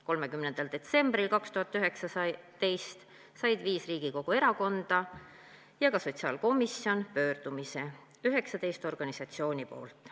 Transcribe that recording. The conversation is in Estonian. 30. detsembril 2019 said viis Riigikogu erakonda ja ka sotsiaalkomisjon pöördumise 19 organisatsioonilt.